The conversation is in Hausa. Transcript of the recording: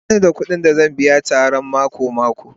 Ba ni da kuɗin da zan biya Tara na mako-mako